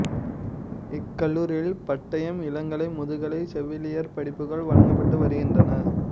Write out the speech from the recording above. இக்கல்லூரியில் பட்டயம் இளங்கலை முதுகலை செவிலியர் படிப்புகள் வழங்கப்பட்டு வருகின்றன